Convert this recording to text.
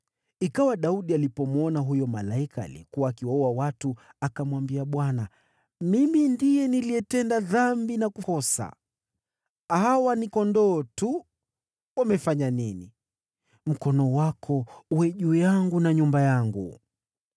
Ikawa Daudi alipomwona huyo malaika aliyekuwa akiwaua watu, akamwambia Bwana , “Mimi ndiye niliyetenda dhambi na kukosa. Hawa ni kondoo tu. Wamefanya nini? Mkono wako uwe juu yangu na nyumba yangu.”